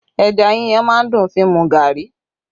Ẹja yíyan má ń dùn fi mu gari